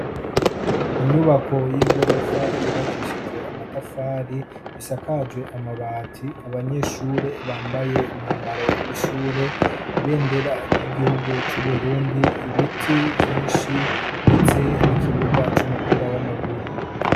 Inyubako y'igorofa yubakishije amatafari isakaje amabati abanyeshure bambaye umwambaro w'ishure ibendera ry'igihugu c'uburundi ibiti vyinshi ndetse n'ikibuga c'umupira w'amaguru.